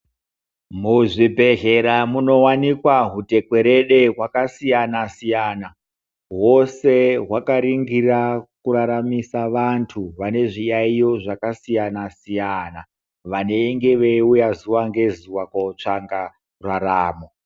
Muzvibhedhlera munowanikwa hwutekwerede hwakasiyana siyana hwose hwakarindira kuraramisa vantu vane zviyayiyo zvakasiyana siyana vanenge veiuya zuva nezuva kotsvaka raramo.